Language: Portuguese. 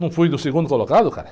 Não fui do segundo colocado, cara?